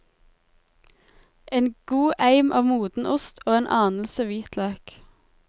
En god eim av moden ost og en anelse hvitløk.